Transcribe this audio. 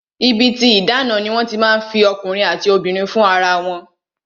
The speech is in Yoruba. Ibi tí ìdáná ni wọ́n ti máa ń fi ọkùnrin àti obìnrin fún ara wọn